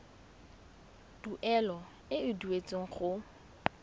tuelo e e duetsweng go